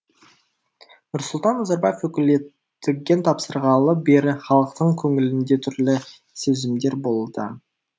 нұрсұлтан назарбаев өкілеттігін тапсырғалы бері халықтың көңілінде түрлі сезімдер болуда